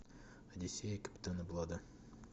одиссея капитана блада